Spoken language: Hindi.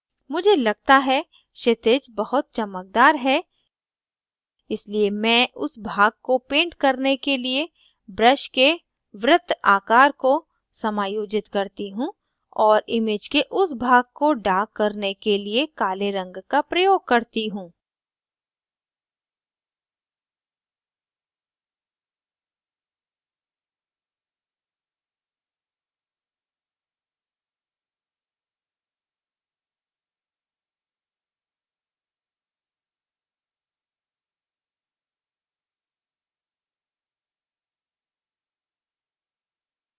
मुझे लगता है क्षितिज बहुत चमकदार है इसलिए मैं उस भाग को paint करने के लिए brush के वृत्त आकर को समायोजित करती हूँ और image के उस भाग को darken करने के लिए काले रंग का प्रयोग करती हूँ